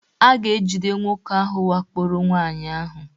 A ga-ejide nwoke ahụ wakporo nwaanyị ahụ